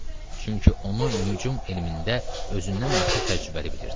Çünki onu mühüm elmində özündən artıq təcrübəli bilirdi.